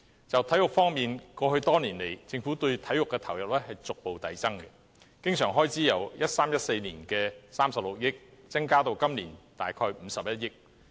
就體育方面，過去多年來，政府對體育的投入逐步遞增，經常性開支由 2013-2014 年度的36億元，增加至今年的大約51億元。